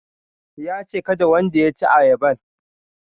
Yace kada wanda ya ci ayaban